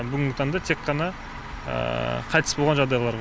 бүгінгі таңда тек қана қайтыс болған жағдайлар